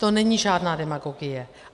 To není žádná demagogie.